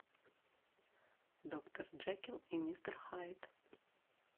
доктор джекилл и мистер хайд